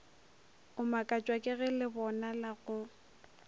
o makatšwa kege lebonala go